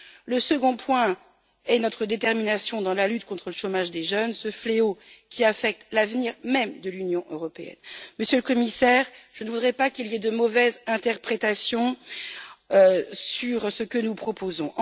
Le second point est notre détermination dans la lutte contre le chômage des jeunes, ce fléau qui affecte l'avenir même de l'Union européenne. Monsieur le Commissaire, je ne voudrais pas qu'il y ait de mauvaise interprétation sur ce que nous proposons.